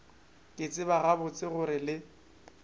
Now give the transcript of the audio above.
ke tseba gabotse gore le